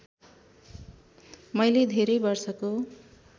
मैले धेरै वर्षको